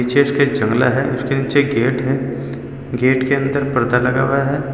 पीछे इसके जंगला है उसके नीचे एक गेट है। गेट के अंदर पर्दा लगा हुआ है।